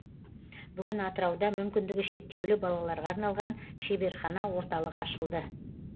бүгін атырауда мүмкіндігі шектеулі балаларға арналған шеберхана орталық ашылды